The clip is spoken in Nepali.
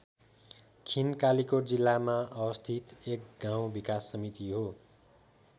खिन कालिकोट जिल्लामा अवस्थित एक गाउँ विकास समिति हो।